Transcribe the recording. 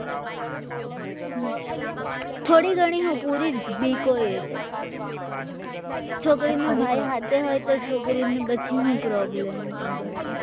થોડી ઘણી હું બીક હોય તો છોકરીનો ભાઈ સાથે હોય તો છોકરીને બધી પછી શું પ્રોબ્લેમ આગળ પાછળ એ